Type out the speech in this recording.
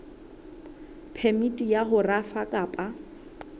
phemiti ya ho rafa kapa